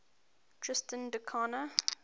tristan da cunha